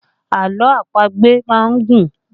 Àlọ́ àpagbè má ń gùn